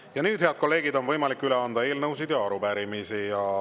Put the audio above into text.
Ja nüüd, head kolleegid, on võimalik üle anda eelnõusid ja arupärimisi.